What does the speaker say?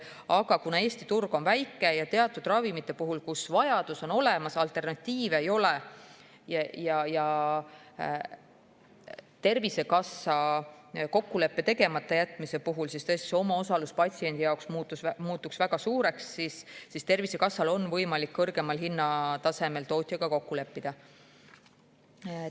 Aga kuna Eesti turg on väike ja teatud ravimite puhul, mille järele vajadus on olemas, alternatiive ei ole ja Tervisekassa kokkuleppe tegemata jätmise puhul muutuks patsiendi omaosalus väga suureks, siis on Tervisekassal võimalik tootjaga kõrgemas hinnatasemes kokku leppida.